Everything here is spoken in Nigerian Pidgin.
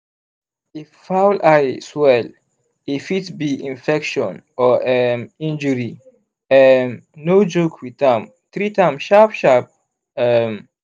fowl eye swell e fit be infection or um injury um no joke with am treat am sharp-sharp. um